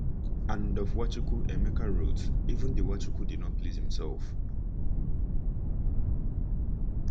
And of Nwachukwu, Emeka wrote: “Even the Nwachukwu did not please himself.”